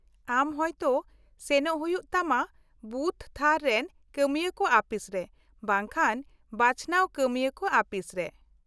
-ᱟᱢ ᱦᱳᱭᱛᱚ ᱥᱮᱱᱚᱜ ᱦᱩᱭᱩᱜ ᱛᱟᱢᱟ ᱵᱩᱛᱷᱼᱛᱷᱟᱨ ᱨᱮᱱ ᱠᱟᱹᱢᱤᱭᱟᱹ ᱠᱚ ᱟᱹᱯᱤᱥᱨᱮ ᱵᱟᱝᱠᱷᱟᱱ ᱵᱟᱪᱷᱱᱟᱣ ᱠᱟᱹᱢᱤᱭᱟᱹ ᱠᱚ ᱟᱹᱯᱤᱥ ᱨᱮ ᱾